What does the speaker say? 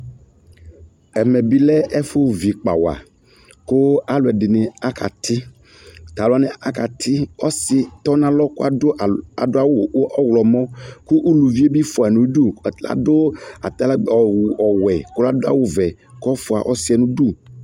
Ɛmɛ bi lɛ ɛfu vi ikpa wa ku aluɛdi ni akati tu alu wani akati ɔsi tɔnalɔ ku adu awu ɔɣlɔmɔ ku uluvi bi fua nu udu ladu atalagbe ɔwɛ ku la du awu vɛ ku ɔfua ɔsi yɛ nu udu